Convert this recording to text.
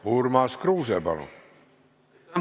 Urmas Kruuse, palun!